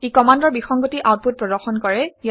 ই কমাণ্ডৰ বিসংগতি আউটপুট প্ৰদৰ্শন কৰে